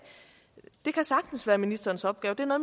det kan sagtens være ministerens opgave